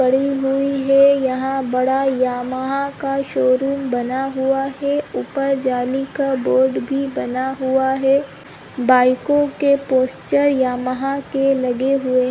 पड़ी हुई है यहाँ बड़ा यामाहा का शोरूम बना हुआ है ऊपर जाली का बोर्ड भी बना हुआ है बाइकों के पोस्टर यामाहा के लगे हुए--